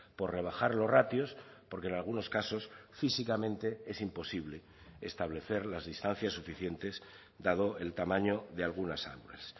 por rebajar los ratios porque en algunos casos físicamente es imposible establecer las distancias suficientes dado el tamaño de algunas aulas